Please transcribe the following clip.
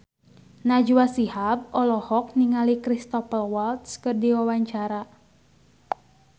Najwa Shihab olohok ningali Cristhoper Waltz keur diwawancara